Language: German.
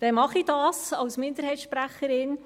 Dann mache ich das als Minderheitssprecherin.